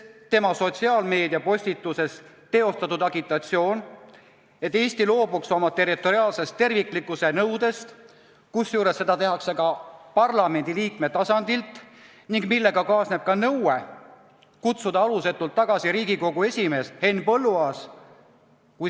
Tema sotsiaalmeediapostitus sisaldab agitatsiooni, et Eesti loobuks oma territoriaalse terviklikkuse nõudest, kusjuures seda tehakse parlamendiliikme tasandil, ning kaasneb ka nõue kutsuda alusetult tagasi Riigikogu esimees Henn Põlluaas.